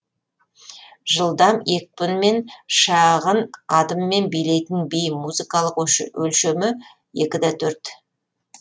жылдам екпінмен шағын адыммен билейтін би музыкалық өлшемі екі да төрт